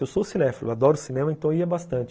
Eu sou cinéfilo, adoro cinema, então ia bastante.